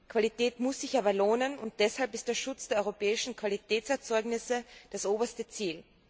Qualität muss sich aber lohnen, und deshalb ist der Schutz der europäischen Qualitätserzeugnisse das oberste Ziel.